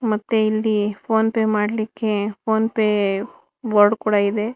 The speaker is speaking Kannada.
ಮತ್ತೆ ಇಲ್ಲಿ ಫೋನ್ ಪೇ ಮಾಡಲಿಕ್ಕೆ ಫೋನ್ ಪೇ ಬೋರ್ಡ್ ಕೂಡ ಇದೆ.